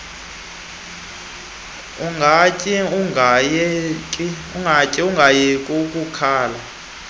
ungatyi ungayeki ukukhala